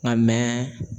Nka mɛ